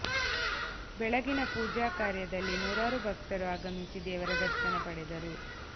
ಬೆಳಗಿನ ಪೂಜಾ ಕಾರ್ಯದಲ್ಲಿ ನೂರಾರು ಭಕ್ತರು ಆಗಮಿಸಿ ದೇವರ ದರ್ಶನ ಪಡೆದರು